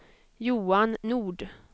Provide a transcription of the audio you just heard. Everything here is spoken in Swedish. Johan Nord